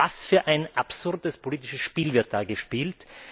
Was für ein absurdes politisches Spiel wird da gespielt?